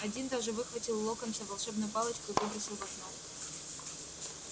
один даже выхватил у локонса волшебную палочку и выбросил в окно